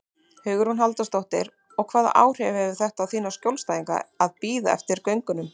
Hugrún Halldórsdóttir: Og hvaða áhrif hefur þetta á þína skjólstæðinga að bíða eftir gögnunum?